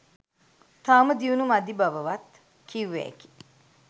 තවම දියුණු මදි බවවත් කිව්වෑකි.